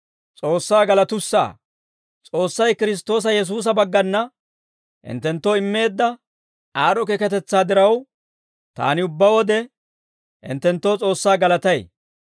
S'oossay Kiristtoosa Yesuusa baggana hinttenttoo immeedda aad'd'o keekatetsaa diraw, taani ubbaa wode hinttenttoo S'oossaa galatay.